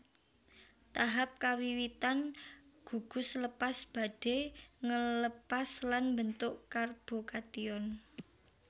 Tahap kawiwitan gugus lepas badhe ngelepas lan mbentuk karbokation